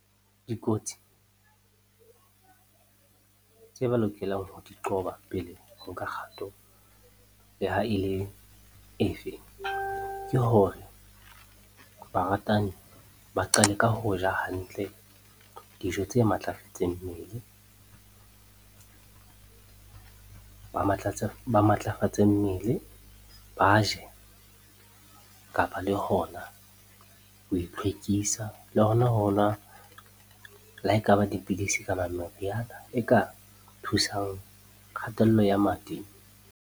Dikotsi tse ba lokelang ho di qoba pele ho nka kgato le ha e le efe, ke hore baratani ba qale ka ho ja hantle dijo tse matlafetseng mmele, ba matlafatse mmele. Ba je kapa le hona ho itlhwekisa, le hona ho nwa le ha ekaba dipidisi kapa meriana e ka thusang kgatello ya madi.